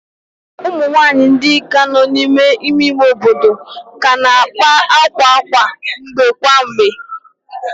Ụmụ nwanyị ndị agadi nọ n'ime ime obodo ka na-akpa akwa kwa mgbe kwa mgbe